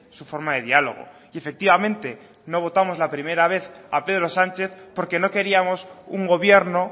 su forma de diálogo y efectivamente no votamos la primera vez a pedro sánchez porque no queríamos un gobierno